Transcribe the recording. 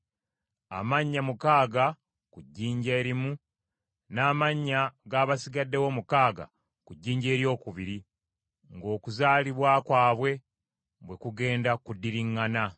amannya mukaaga ku jjinja erimu, n’amannya g’abasigaddewo omukaaga ku jjinja eryokubiri, ng’okuzaalibwa kwabwe bwe kugenda kuddiriragana.